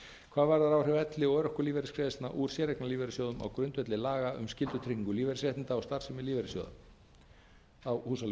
hvað varðar áhrif elli og örorkulífeyrisgreiðslna úr séreignarlífeyrissjóðum á grundvelli laga um skyldutryggingu lífeyrisréttinda og starfsemi lífeyrissjóða þá húsaleigubætur